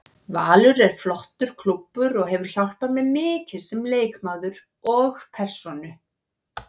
Valur er flottur klúbbur og hefur hjálpað mér mikið sem leikmaður og persónu.